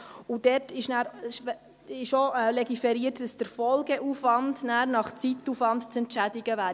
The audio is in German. Dort ist auch legiferiert, dass der Folgeaufwand nachher nach Zeitaufwand zu entschädigen wäre.